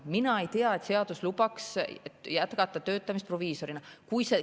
Mina ei tea, et seadus lubaks jätkata töötamist proviisorina.